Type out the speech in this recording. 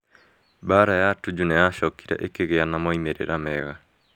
Mbaara ya Tuju nĩ yacokire ĩkĩgĩa na moimĩrĩro mega.